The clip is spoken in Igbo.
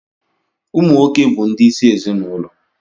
Ụmụ nwoke bu ndi isi ezinụlọ